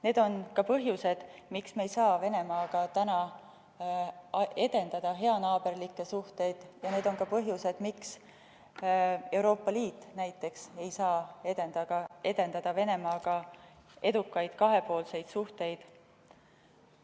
Need on põhjused, miks me ei saa praegu edendada Venemaaga heanaaberlikke suhteid, ja need on ka põhjused, miks ei saa näiteks Euroopa Liit edendada Venemaaga edukaid kahepoolseid suhteid.